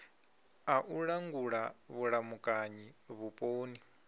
a u langula vhulamukanyi vhuponi